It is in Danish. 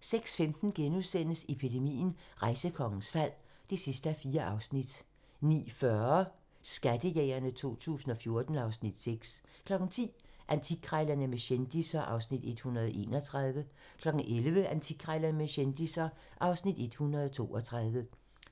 06:15: Epidemien - Rejsekongens fald (4:4)* 09:40: Skattejægerne 2014 (Afs. 6) 10:00: Antikkrejlerne med kendisser (Afs. 131) 11:00: Antikkrejlerne med kendisser (Afs. 132)